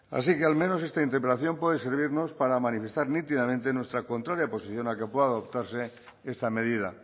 así que al menos esta interpelación puede servirnos para manifestar nítidamente nuestra contraria posición a que pueda adoptarse esta medida